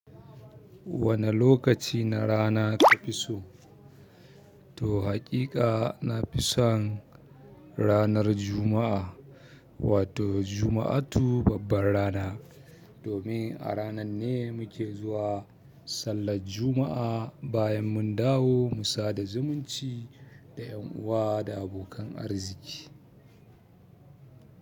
Wane lokaci na rana ka fi so? To haƙiƙa na fi son ranar Juma'a, wato juma'atu babbar rana. Domin a ranar ne muke zuwa sallar jumu'a bayan mun dawo mu sada zumunci da 'yan uwa da abokan arziƙi.